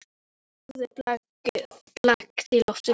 Horfi á orðin blakta í loftinu.